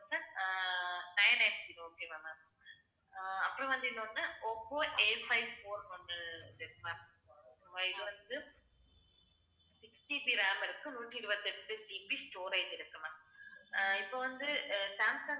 அப்புறம் வந்து இன்னொன்னு, ஓப்போ Afive four வந்து வந்து இருக்கு ma'am ஆஹ் இது வந்து 6GB RAM இருக்கு நூத்தி இருபத்தி எட்டு GB storage இருக்கு ma'am ஆஹ் இப்ப வந்து, அஹ் சாம்சங்